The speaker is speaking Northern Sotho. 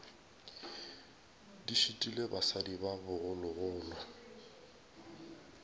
di šitile basadi ba bogologolo